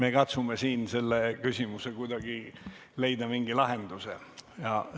Me katsume siin sellele küsimusele kuidagi mingi lahenduse leida.